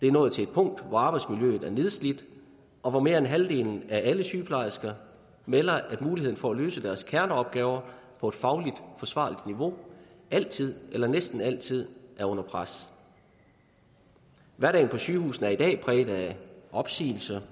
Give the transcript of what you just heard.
er nået til et punkt hvor arbejdsmiljøet er nedslidt og hvor mere end halvdelen af alle sygeplejersker melder at muligheden for at løse deres kerneopgaver på et fagligt forsvarligt niveau altid eller næsten altid er under pres hverdagen på sygehusene er i dag præget af opsigelser